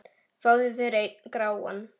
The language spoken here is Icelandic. Fáðu þér einn gráan!